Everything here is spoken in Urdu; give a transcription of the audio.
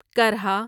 کرھا